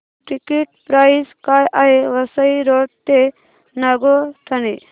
ticket price काय आहे Vasai road ते नागोठणे